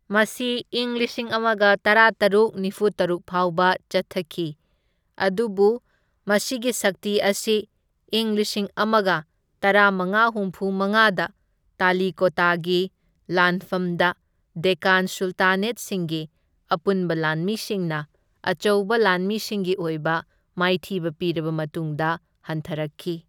ꯃꯁꯤ ꯢꯪ ꯂꯤꯁꯤꯡ ꯑꯃꯒ ꯇꯔꯥꯇꯔꯨꯛ ꯅꯤꯐꯨꯇꯔꯨꯛ ꯐꯥꯎꯕ ꯆꯠꯊꯈꯤ, ꯑꯗꯨꯕꯨ ꯃꯁꯤꯒꯤ ꯁꯛꯇꯤ ꯑꯁꯤ ꯢꯪ ꯂꯤꯁꯤꯡ ꯑꯃꯒ ꯇꯔꯥꯃꯉꯥ ꯍꯨꯝꯐꯨꯃꯉꯥꯗ ꯇꯂꯤꯀꯣꯇꯒꯤ ꯂꯥꯟꯐꯝꯗ ꯗꯦꯛꯀꯥꯟ ꯁꯨꯜꯇꯥꯅꯦꯠꯁꯤꯡꯒꯤ ꯑꯄꯨꯟꯕ ꯂꯥꯟꯃꯤꯁꯤꯡꯅ ꯑꯆꯧꯕ ꯂꯥꯟꯃꯤꯁꯤꯡꯒꯤ ꯑꯣꯏꯕ ꯃꯥꯏꯊꯤꯕ ꯄꯤꯔꯕ ꯃꯇꯨꯡꯗ ꯍꯟꯊꯔꯛꯈꯤ꯫